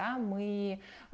а мы